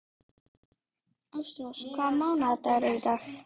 Ástrós, hvaða mánaðardagur er í dag?